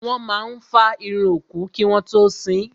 Wọ́n máa fá irun òkú kí wọ́n tó sín.